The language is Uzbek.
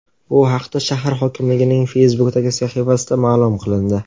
Bu haqda shahar hokimligining Facebook’dagi sahifasida ma’lum qilindi .